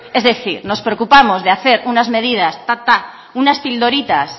es decir nos preocupamos de hacer unas medidas unas pildoritas